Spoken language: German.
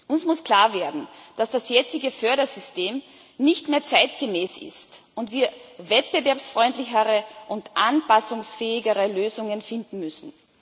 Uns muss klar werden, dass das jetzige Fördersystem nicht mehr zeitgemäß ist und wir wettbewerbsfreundlichere und anpassungsfähigere Lösungen finden müssen.